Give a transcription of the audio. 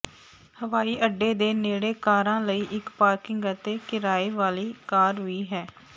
ਹਵਾਈ ਅੱਡੇ ਦੇ ਨੇੜੇ ਕਾਰਾਂ ਲਈ ਇਕ ਪਾਰਕਿੰਗ ਅਤੇ ਕਿਰਾਏ ਵਾਲੀ ਕਾਰ ਵੀ ਹੈ